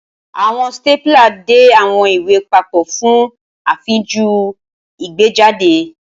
Awọn stapler dè awọn iwe papo fun afinju igbejade.